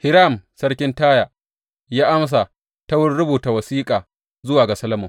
Hiram sarkin Taya ya amsa ta wurin rubuta wasiƙa zuwa ga Solomon.